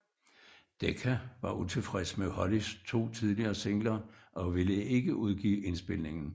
Decca var utilfredse med Hollys to tidligere singler og ville ikke udgive indspilningen